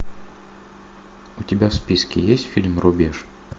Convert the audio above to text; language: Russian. у тебя в списке есть фильм рубеж